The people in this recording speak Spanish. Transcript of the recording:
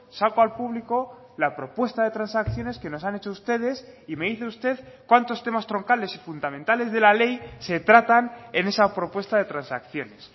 saco al público la propuesta de transacciones que nos han hecho ustedes y me dice usted cuántos temas troncales y fundamentales de la ley se tratan en esa propuesta de transacciones